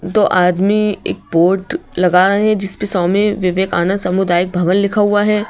दो आदमी एक बोर्ड लगा रहे हैं जिसपे स्वामी विवेकानंद सामुदायिक भवन लिखा हुआ है।